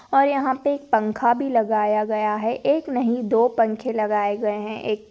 और यहाँ पे एक पंखा भी लगाया गया है एक नहीं दो पंखे लगाये गये है। एक--